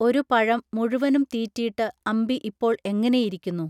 ഒരു പഴം മുഴുവനും തീറ്റീട്ട് അമ്പി ഇപ്പോൾ എങ്ങനെയിരിക്കുന്നു